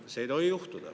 Seda ei tohi juhtuda.